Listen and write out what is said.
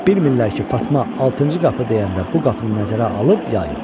Bilmirlər ki, Fatma altıncı qapı deyəndə bu qapını nəzərə alıb ya yox.